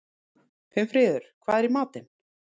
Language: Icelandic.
Finnfríður, hvað er í matinn?